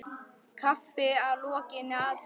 Kaffi að lokinni athöfn.